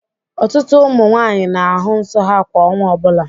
Ọtụtụ ụmụ nwanyị na-ahụ nsọ ha kwa ọnwa ọbụla.